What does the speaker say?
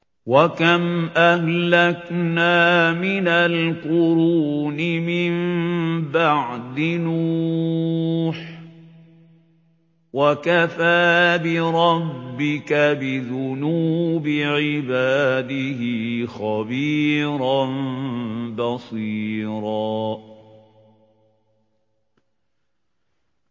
وَكَمْ أَهْلَكْنَا مِنَ الْقُرُونِ مِن بَعْدِ نُوحٍ ۗ وَكَفَىٰ بِرَبِّكَ بِذُنُوبِ عِبَادِهِ خَبِيرًا بَصِيرًا